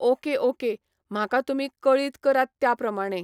Okay okay म्हाका तुमी कळीत करात त्या प्रमाणे.